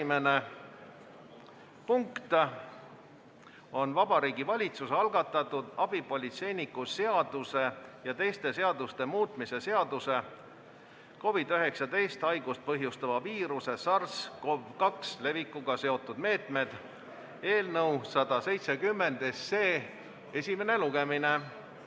Esimene punkt on Vabariigi Valitsuse algatatud abipolitseiniku seaduse ja teiste seaduste muutmise seaduse eelnõu 170 esimene lugemine.